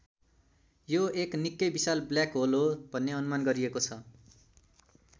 यो एक निक्कै विशाल ब्ल्याक होल हो भन्ने अनुमान गरिएको छ।